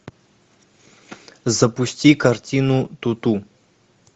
запусти картину туту